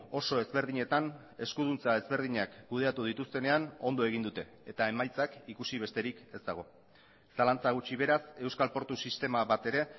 oso ezberdinetan eskuduntza ezberdinak kudeatu dituztenean ondo egin dute eta emaitzak ikusi besterik ez dago zalantza gutxi beraz euskal portu sistema batere